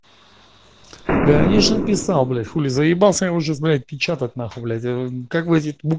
конечно писал блять хули заебался уже знает печатать нахуй блять а как вы эти букв